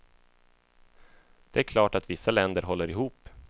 Det är klart att vissa länder håller ihop.